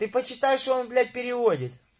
ты почитай что он блять переводит